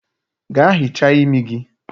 Gaa hichaa imi gi!